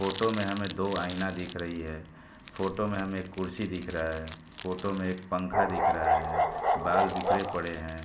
Photo में हमें दो आइना दिख रही है। फोटो में हमें कुर्सी दिख रहा है फोटो में हमें एक पंखा दिख रहा है। बाल बिखरे पड़े हैं।